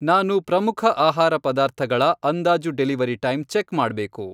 ನಾನು ಪ್ರಮುಖ ಆಹಾರ ಪದಾರ್ಥಗಳ ಅಂದಾಜು ಡೆಲಿವರಿ ಟೈಮ್ ಚೆಕ್ ಮಾಡ್ಬೇಕು.